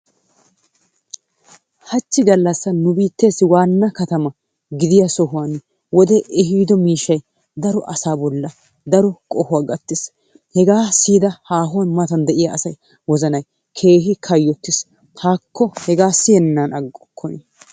haachchi nu biitteesi waanna katama gidiyaa sohuwaan wode eehido miishshay daro asaa bollaan daro qohuwaa gattiis. Hegaa siyida haahuwaan mata de'iyaa asaa wozanay keehi kayottiis. Haakko hegaa siyennan aggorkonii.